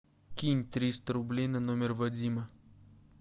кинь триста рублей на номер вадима